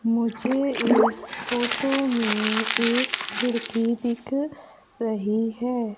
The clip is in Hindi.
मुझे इस फोटो में एक खिड़की दिख रही है।